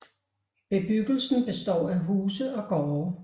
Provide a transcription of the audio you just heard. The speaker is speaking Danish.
Bebyggelsen består af huse og gårde